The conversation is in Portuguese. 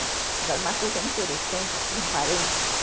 Agora, uma coisa interessante aqui, um parênteses,